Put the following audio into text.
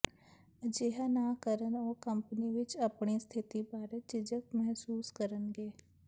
ਅਜਿਹਾ ਨਾ ਕਰਨ ਨਾਲ ਉਹ ਕੰਪਨੀ ਵਿਚ ਆਪਣੀ ਸਥਿਤੀ ਬਾਰੇ ਝਿਜਕ ਮਹਿਸੂਸ ਕਰਨਗੇ